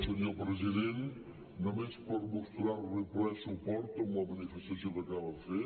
senyor president només per mostrar li el ple suport en la manifestació que acaba de fer